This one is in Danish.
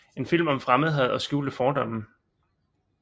En film om fremmedhad og skjulte fordomme